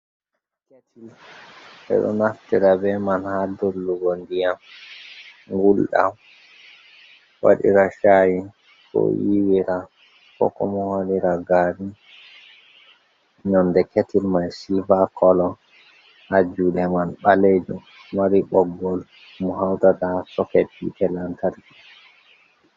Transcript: Ketil bedo naftira be man ha dollugo ndiyam ngulɗam, waɗira shayi, ko yiwira, kobo wadira gari nonde ketil mai silva colo ha jude man balejum do mari boggol be hautata ha soket hittee lantarki